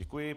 Děkuji.